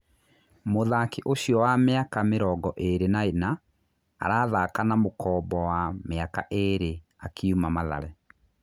Mûthaki ũcio wa mĩ aka mĩ rongo ĩ rĩ na ĩ na, arathaka na mũkombo wa mĩ aka ĩ rĩ akiuma Mathare.